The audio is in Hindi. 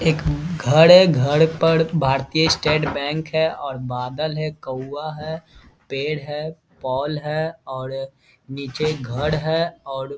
एक घर है घर पर भारतीय स्टेट बैंक है और बादल है कौआ है पेड़ है पोल है और नीचे घर है और --